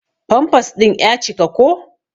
Pampas din ƴa cika ko.